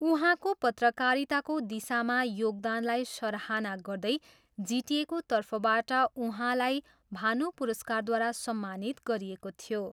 उहाँको पत्रकारिताको दिशामा योगदानलाई सराहना गर्दै जिटिएको तर्फबाट उहाँलाई भानु पुरस्कारद्वारा सम्मानित गरिएको थियो।